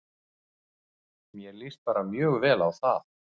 Mér líst bara mjög vel á það.